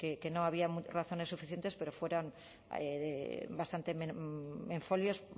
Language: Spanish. que no había razones suficientes pero fueron bastante en folios